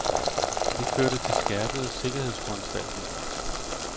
Det førte til skærpede sikkerhedsforanstaltninger.